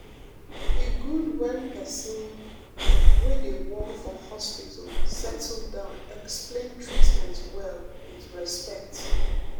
e good wen pesin wey dey work for hospital settle down explain treatment well with respect.